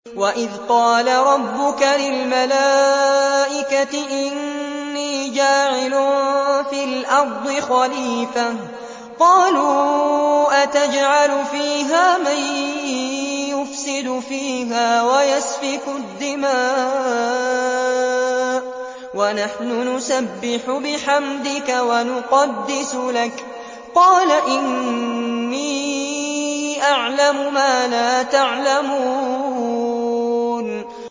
وَإِذْ قَالَ رَبُّكَ لِلْمَلَائِكَةِ إِنِّي جَاعِلٌ فِي الْأَرْضِ خَلِيفَةً ۖ قَالُوا أَتَجْعَلُ فِيهَا مَن يُفْسِدُ فِيهَا وَيَسْفِكُ الدِّمَاءَ وَنَحْنُ نُسَبِّحُ بِحَمْدِكَ وَنُقَدِّسُ لَكَ ۖ قَالَ إِنِّي أَعْلَمُ مَا لَا تَعْلَمُونَ